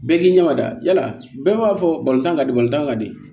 Bɛɛ k'i ɲɛmada yala bɛɛ b'a fɔ tan ka di tan ka di